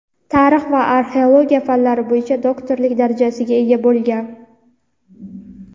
tarix va arxeologiya fanlari bo‘yicha doktorlik darajasiga ega bo‘lgan.